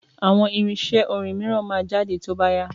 Àwọn irinṣẹ́ orin mìíràn máa jáde tó bá yá.